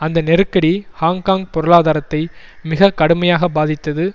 அந்த நெருக்கடி ஹாங்க்காங் பொருளாதாரத்தை மிக கடுமையாக பாதித்தது